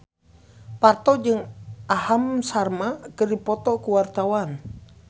Parto jeung Aham Sharma keur dipoto ku wartawan